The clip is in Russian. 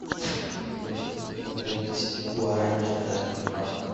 сколько будет полторы тысячи гуарани в швейцарских франках